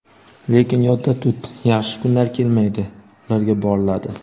Lekin yodda tut, yaxshi kunlar "kelmaydi", ularga "boriladi".